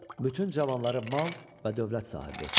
Bütün cavanları mal və dövlət sahibi etdi.